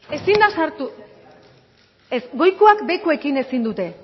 ezin da sartu ez goikoak behekoekin ezin dute